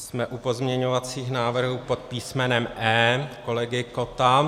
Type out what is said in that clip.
Jsme u pozměňovacích návrhů pod písmenem E kolegy Kotta.